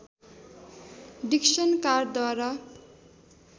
Dixon कारद्वारा